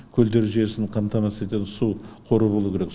көлдер жүйесін қамтамысыз етеін су қоры болу керек